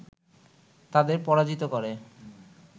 তাদের পরাজিত করে